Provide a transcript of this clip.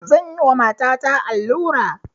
Zan yi wa matata allura